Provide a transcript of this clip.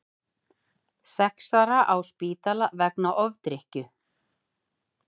Sex ára á spítala vegna ofdrykkju